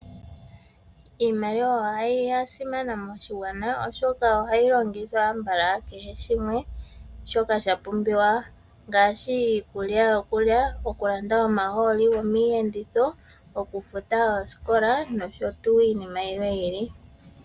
Iimaliwa oya simana moshigwana, oshoka ohayi longithwa ambala kehe shimwe shoka sha pumbiwa ngaashi iikulya yokulya, okulanda omahooli gomiiyenditho, okufuta oskola noshotu iinima yimwe yi ili.